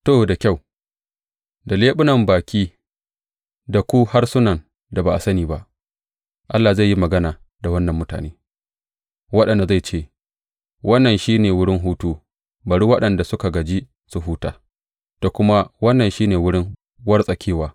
To da kyau, da leɓunan baƙi da ku harsunan da ba sani ba Allah zai yi magana da wannan mutane, waɗanda zai ce, Wannan shi ne wurin hutu, bari waɗanda suka gaji su huta; da kuma, Wannan shi ne wurin wartsakewa